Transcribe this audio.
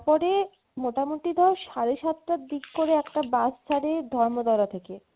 তারপরে মোটামোটি ধর সাড়ে সাতটার দিক করে একটা bus ছারে ধর্মতলা থেকে